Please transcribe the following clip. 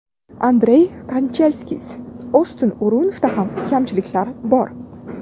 Andrey Kanchelskis: Oston O‘runovda ham kamchiliklar bor.